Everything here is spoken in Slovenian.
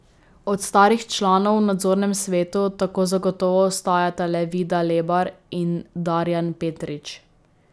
Od starih članov v nadzornem svetu tako zagotovo ostajata le Vida Lebar in Darjan Petrič.